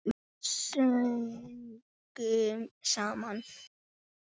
Sungum saman.